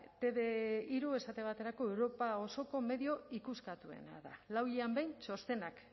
te uve hiru esate baterako europa osoko medio ikuskatuena da lau hilean behin txostenak